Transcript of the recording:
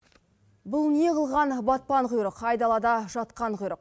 бұл неқылған батпан құйрық айдалада жатқан құйрық